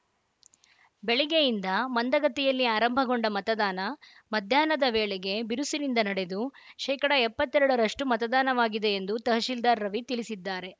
ಬೆಳಗ್ಗೆಯಿಂದ ಮಂದಗತಿಯಲ್ಲಿ ಆರಂಭಗೊಂಡ ಮತದಾನ ಮಧ್ಯಾಹ್ನ ವೇಳೆಗೆ ಬಿರುಸಿನಿಂದ ನಡೆದು ಶೇಕಡಾ ಎಪ್ಪತ್ತ್ ಎರಡರಷ್ಟು ಮತದಾನವಾಗಿದೆ ಎಂದು ತಹಶೀಲ್ದಾರ್‌ ರವಿ ತಿಳಿಸಿದ್ದಾರೆ